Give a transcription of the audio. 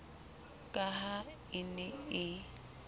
ka ha e ne e